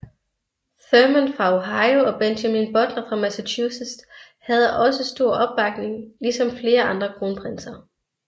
Thurman fra Ohio og Benjamin Butler fra Massachusetts havde også stor opbakning lige som flere andre kronprinser